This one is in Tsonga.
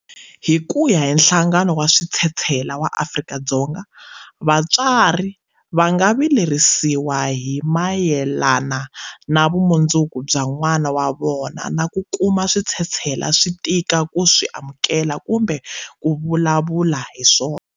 Hi ku ya hi Nhlangano wa Switshetshela wa Afrika-Dzonga, vatswari va nga vilerisiwa hi mayelana na vumundzuku bya n'wana wa vona na ku kuma switshetshela swi tika ku swi amukela kumbe ku vulavula hi swona.